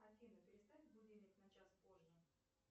афина переставь будильник на час позже